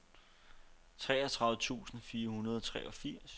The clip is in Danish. treogtredive tusind fire hundrede og treogfirs